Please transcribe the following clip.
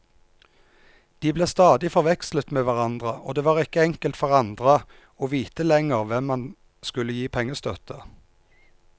De ble stadig forvekslet med hverandre, og det var ikke enkelt for andre å vite lenger hvem man skulle gi pengestøtte.